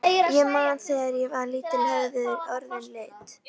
Ég man að þegar ég var lítill höfðu orðin lit.